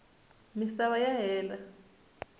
misava ya hela